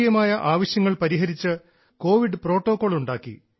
തദ്ദേശീയമായ ആവശ്യങ്ങൾ പരിഹരിച്ച് കോവിഡ് പ്രോട്ടോകോൾ ഉണ്ടാക്കി